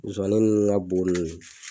Musomanin nunnu ka bo nunnu.